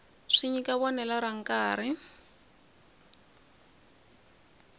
swi nyika vonelo ra nkarhi